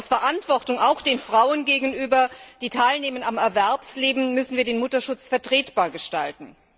Aus Verantwortung auch den Frauen gegenüber, die am Erwerbsleben teilnehmen, müssen wir den Mutterschutz vertretbar gestalten.